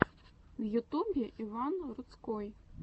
в ютубе иван рудской